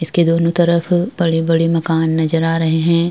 इसके दोनों तरफ अ बड़े-बड़े मकान नजर आ रहे हैं ।